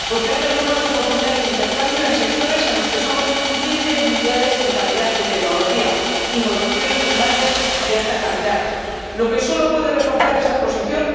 porque abre nuevas oportunidades de intercambio en sectores en los que somos líderes mundiales en calidad y tecnología, incluidas las producciones primarias de alta calidad —lo que solo puede reforzar esta posición—